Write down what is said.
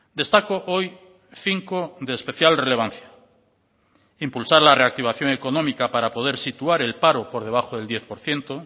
destaco hoy cinco de especial relevancia impulsar la reactivación económica para poder situar el paro por debajo del diez por ciento